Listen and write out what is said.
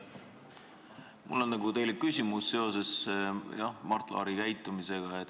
Mul on teile küsimus seoses Mart Laari käitumisega.